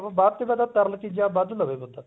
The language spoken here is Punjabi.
ਵੱਧ ਤੇ ਵੱਧ ਤਰਲ ਚੀਜ਼ਾਂ ਵੱਧ ਲਵੇ ਬੰਦਾ